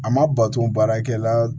A ma bato baarakɛla